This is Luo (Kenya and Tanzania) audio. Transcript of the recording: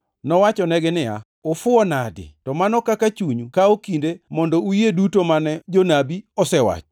Nowachonegi niya, “Ufuwo nadi to mano kaka chunyu kawo kinde mondo uyie duto mane jonabi osewacho!